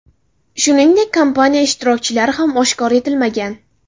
Shuningdek, kampaniya ishtirokchilari ham oshkor etilmagan.